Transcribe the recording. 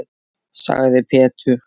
sagði Pétur.